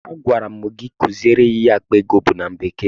Agwara m gị kuziere ya ihe akpa ego bụ na bekee!